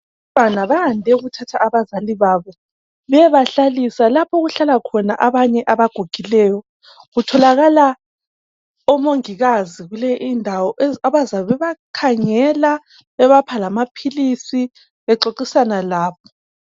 Abantwana bande ukuthatha abazali babo beyebahlalisa lapho okulabanye abagugileyo kutholakala omongikazi kule indawo abazabe bebakhangela bebapha lamaphilisi bexoxisana labo.